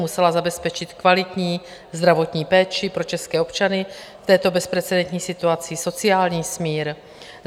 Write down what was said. Musela zabezpečit kvalitní zdravotní péči pro české občany v této bezprecedentní situaci, sociální smír.